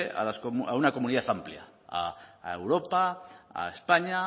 a una comunidad amplia a europa a españa